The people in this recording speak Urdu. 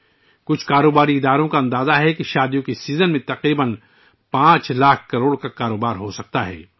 کچھ تجارتی اداروں کا اندازہ ہے کہ شادی کے اس سیزن میں تقریباً 5 لاکھ کروڑ روپئے کا کاروبار ہو سکتا ہے